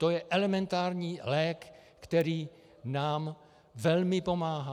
To je elementární lék, který nám velmi pomáhá.